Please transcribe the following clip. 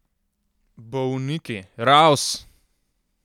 Bolniki, raus!